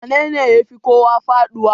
wanene ya Fi kowa faduwa?